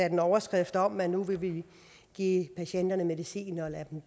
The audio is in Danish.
en overskrift om at vi nu ville give patienterne medicin og lade